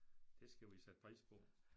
Det skal vi sætte pris på